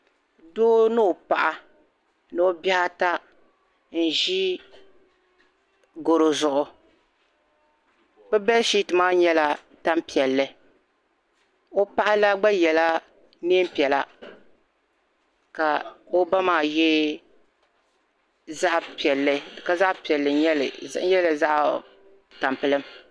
Doo ni o paɣa ni bihi ata n ʒi garo zuɣu be bɛshiati nyɛla tani piɛlli o paɣ'la gba yɛla neei piɛla ka o ba maa ye zaɣ'piɛlli ka zaɣ'piɛlli n nyɛli n yɛrila zaɣ'tampilim.